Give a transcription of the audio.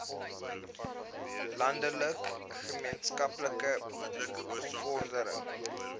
landelike gemeenskappe bevordering